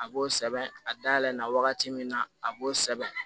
A b'o sɛbɛn a dayɛlɛ na wagati min na a b'o sɛbɛn